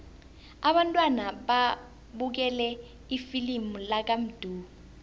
abantwana babukele ifilimu lakamdu